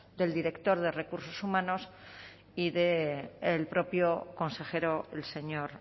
del director de recursos humanos y del propio consejero el señor